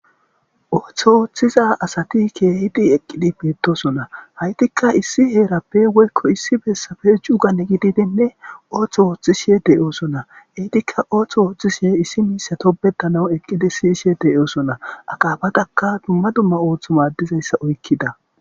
ooththo ooththiza asati keehidi eqqidi beetosona haytikka issi heerappe woykko issi bessafe cuugan gididinne ooththo ooththishe deyoosonna hiitikka ooththo ooththishihe issi miisa topbetana eqqidi siyishe deyoosona aqaabatakka tumma dumma ooththo maaddizayssa oykkida